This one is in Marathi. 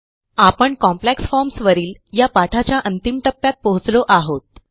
आपण कॉम्प्लेक्स फॉर्म्स वरील या पाठाच्या अंतिम टप्प्यात पोहोचलो आहोत